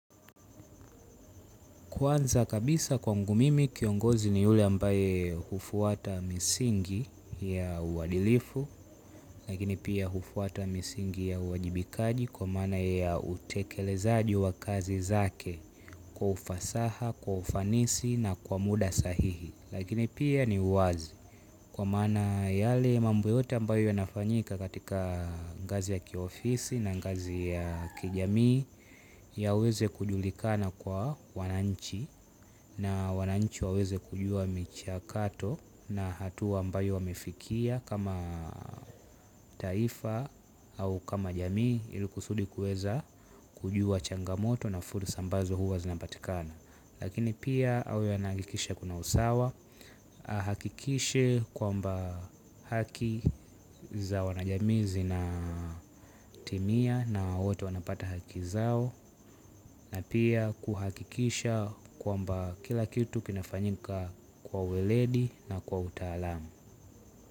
Kwanza kabisa kwangu mimi kiongozi ni yule ambaye hufwata misingi ya uwadilifu lakini pia hufwata misingi ya uwajibikaji kwa maana ya utekelezaji wa kazi zake kwa ufasaha, kwa ufanisi na kwa muda sahihi. Lakini pia ni wazi kwa maana yale mambo yote ambayo yanafanyika katika ngazi ya kiofisi na ngazi ya kijamii yaweze kujulikana kwa wananchi na wananchi waweze kujua michakato na hatua ambayo wamefikia kama taifa au kama jamii ili kusudi kueza kujua changamoto na fursa ambazo huwa zinapatikana. Lakini pia awe anahakikisha kuna usawa ahakikishe kwamba haki za wanajamii zina timia na wote wanapata haki zao na pia kuhakikisha kwamba kila kitu kinafanyika kwa weledi na kwa utaalamu.